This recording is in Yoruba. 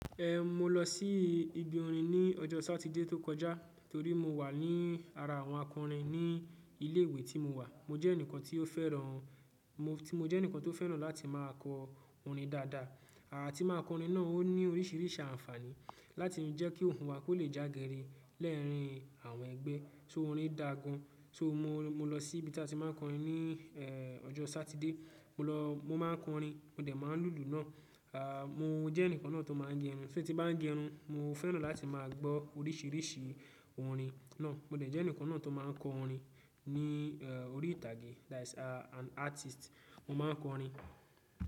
Eh, mo lọ sí ibi orin ní ọjọ́ Sátidé tó kọjá torí mo wà ní ara àwọn akọrin ní ilé ìwé tí mo wà. Mo jẹ́ ẹnìkan tí ó fẹ́ràn-- mo tí mo jẹ́ ẹnìkan tó fẹ́ràn láti máa kọ orin dáadáa. Àti máa kọ orin náà ó ní oríṣìíríṣìí àǹfààní láti jẹ́ kí ohun wa kó lè jágiri lẹ́ẹ̀rín àwọn ẹgbẹ́. So orin dà gán. So mo lọ sí ibi tí a ti máa ń kọ orin ní eh ọjọ́ Sátidé. Mo lọ, mo máa ń kọ orin. Mo dẹ̀ máa ń lùlù náà. À mo jẹ́ ẹnìkan náà tó máa ń gẹrun. So tí n bá ń gẹrun, mo fẹ́ràn láti máa gbọ́ oríṣíríṣí orin náà. Mo dẹ̀ jẹ́ ẹnìkan náà tó máa ń kọ orin ní orí ìtàgé. That is an artist. Mo máa ń kọ orin.